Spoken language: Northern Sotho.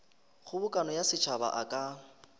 kgobokano ya setšhaba a ka